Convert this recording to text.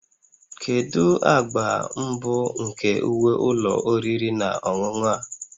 Kedu agba mbụ nke uwe ụlọ oriri na ọṅụṅụ a?